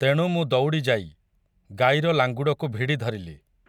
ତେଣୁ ମୁଁ ଦୌଡ଼ିଯାଇ, ଗାଈର ଲାଙ୍ଗୁଡ଼କୁ ଭିଡ଼ି ଧରିଲି ।